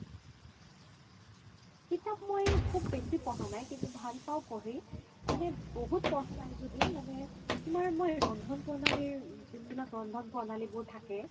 কিতাপ মই খুব বেচি পঢ়া নাই কিন্তু ভাল পাও পঢ়ি মানে বহুত পঢ়া নাই য্দিও মানে তুমাৰ মই ৰন্ধন প্ৰণালিৰ যোন বিলাক ৰন্ধন প্ৰণালি বোৰ থাকে